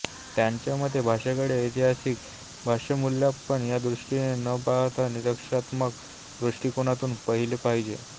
त्याच्या मते भाषेकडे ऐतिहासिक भाषामूल्यमापन या दृष्टीने न पाहता निरीक्षणात्मक दृष्टीकोनातून पाहिले पाहिजे